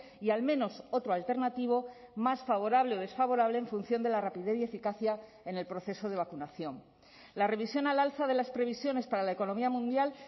y al menos otro alternativo más favorable o desfavorable en función de la rapidez y eficacia en el proceso de vacunación la revisión al alza de las previsiones para la economía mundial